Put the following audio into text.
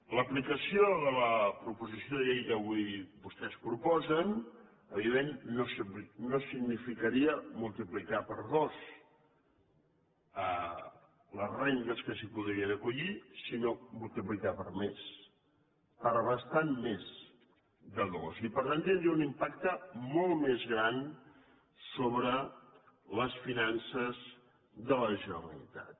l’aplicació de la proposició de llei que avui vostès proposen evidentment no significaria multiplicar per dos les rendes que s’hi podrien acollir sinó multiplicar per més per bastant més de dos i per tant tindria un impacte molt més gran sobre les finances de la generalitat